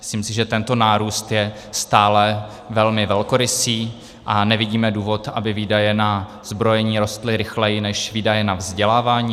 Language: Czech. Myslím si, že tento nárůst je stále velmi velkorysý a nevidíme důvod, aby výdaje na zbrojení rostly rychleji než výdaje na vzdělávání.